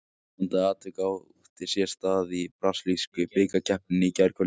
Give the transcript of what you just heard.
Skondið atvik átti sér stað í brasilísku bikarkeppninni í gærkvöldi.